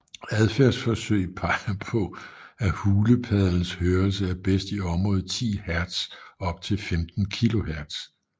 Adfærdsforsøg peger på at hulepaddens hørelse er bedst i området 10 Hz op til 15 kHz